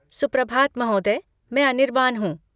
सुप्रभात महोदय, मैं अनिरबान हूँ।